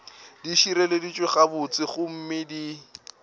di šireleditšwe gabotse gomme di